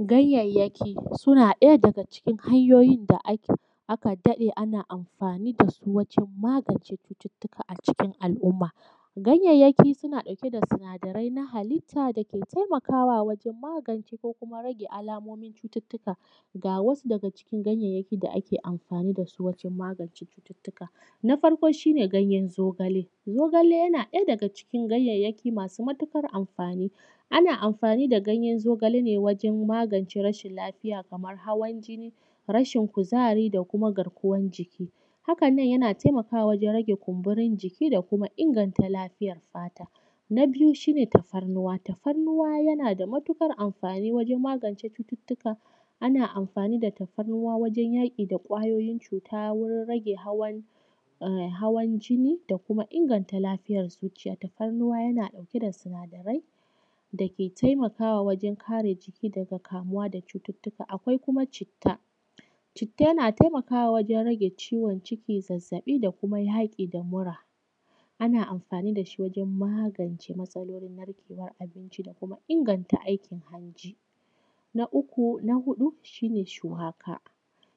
Ganyeyaki suna ɗaya daga cikin hanyoyin da aka daɗe ana amfani da su wajan magance cucuttuka a cikin al’umma. Ganyeyaki sunan ɗauke da sinadari na halitta da ke taimakawa wajan magance, ko kuma rage alamomin cututtuka. Ga wasu daga cikin ganyeyaki da ake amfani da su wajan magance cututtuka, na farko shi ne ganyan zogale, zogale yana ɗaya daga cikin ganyeyaki masu matuƙar amfani, ana amfani da gayen zogale ne wajan magance rashin lafiya kamar hawan jinin, rashin kuzari, da kuma garkuwan jiki. Haka nan yana taimakawa wajan rage kumburi jiki, da kuma inganta lafiyar fata. Na biyu shi ne tafarnuwa. Tafarnuwa yana da matuƙar amfani wajan magance cututtuka ana anfani da tafarnuwa wajan yaƙi da ƙwayoyin cuta, wurin rage hawan jini, da kuma inganta lafiyar zuciya. Tafarnuwa yana ɗauke da sinadarai da ke taimakawa wajan kare jiki daga kamuwa da cucuttuka. Akwai kuma citta. Citta yana taimakawa wajan rage ciwo ciki, zazzaɓi da kuma yaƙi da mura. Ana amfani da shi wajan magance masalolin narkewan abinci, da kuma inganta aikin hanji. Na uku na huɗu shi ne shuwaka.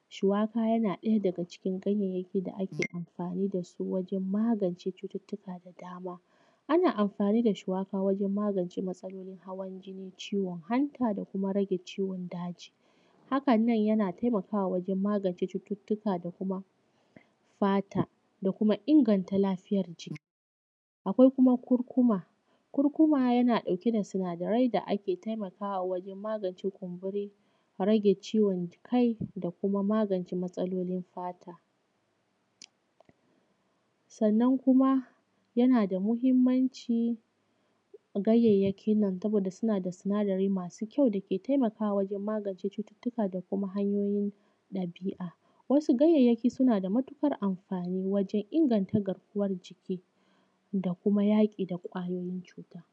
Shuwaka yana ɗaya daga cikin ganyeyaki da ake amfani da su wajan magance cututtuka da dama, ana amfani da shuwaka wajan magance masalolin hawan jini, ciwon hanta, da kuma rage ciwon daji. Haka nan yana taimakawa wajan magance cututtuka da kuma fata da kuma inganta lafiyar ci. Akwai kuma kurkuma. Kurkuma yana ɗauke da sinadarai da ake taimakawa wajan magance kumburi, rage ciwon kai, da kuma magance masalolin fata. Sannan kuma yana da muhinmanci ganyayaki nan saboda suna da sinadari masu kyau da ke taimakawa wajan magance cututtuka da kuma hanyoyin dabi'a. Wasu ganyeyakin suna da matuƙar amfani wajan inganta garkuwan jiki, da kuma yaƙi da ƙwayoyin cuta.